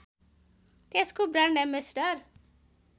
त्यसको brand ambassador